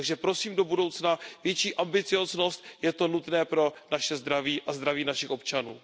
Takže prosím do budoucna větší ambicióznost, je to nutné pro naše zdraví a zdraví našich občanů.